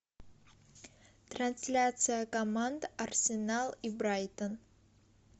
трансляция команд арсенал и брайтон